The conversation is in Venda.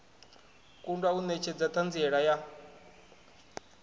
kundwa u netshedza thanziela ya